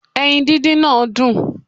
Eyin díndín náà dùn